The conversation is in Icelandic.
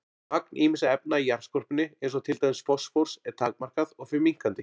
Magn ýmissa efna í jarðskorpunni eins og til dæmis fosfórs er takmarkað og fer minnkandi.